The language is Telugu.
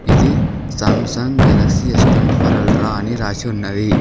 ఇది Samsung Galaxy S twenty four Ultra అని రాసి ఉన్నది.